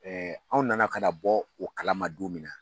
Ɛɛ anw nana ka na bɔ o kalama don min na